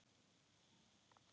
Inga var þannig.